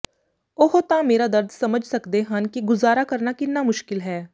ਉਹ ਤਾਂ ਮੇਰਾ ਦਰਦ ਸਮਝ ਸਕਦੇ ਹਨ ਕਿ ਗੁਜ਼ਾਰਾ ਕਰਨਾ ਕਿੰਨਾ ਮੁਸ਼ਕਿਲ ਹੈ